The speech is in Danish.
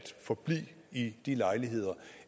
forblive i de lejligheder